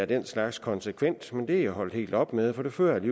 den slags konsekvent men det er hun holdt helt op med for det førte